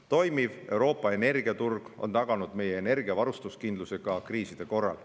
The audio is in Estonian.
Toimiv Euroopa energiaturg on taganud meie energia varustuskindluse ka kriiside korral.